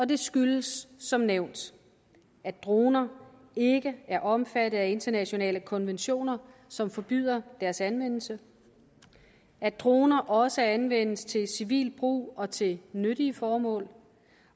det skyldes som nævnt at droner ikke er omfattet af internationale konventioner som forbyder deres anvendelse at droner også anvendes til civil brug og til nyttige formål